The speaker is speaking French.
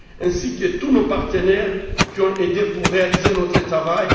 ainsi que tous nos partenaires qui nous ont aidés à réaliser notre travail.